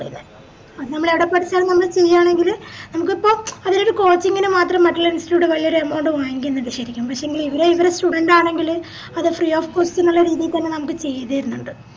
അത് നമ്മൾ എട പഠിച്ച നമ്മള് ചെയ്യണെങ്കില് നമുക്കിപ്പൊ അവരുടെ coaching ന് മാത്രം മതി institute കൾ വലിയ amount വാങ്ങിക്കുന്നത് ശെരിക്കും പക്ഷെങ്കിൽ ഇവർ ഇവരുടെ student ആണെങ്കിൽ അത് free of cost ന്നുള്ള രീതി തന്നെ നമുക്ക് ചെയ്തരിന്നിണ്ട്